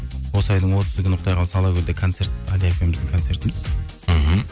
осы айдың отызы күні құдай қаласа алакөлде концерт әлия екеуіміздің концертіміз мхм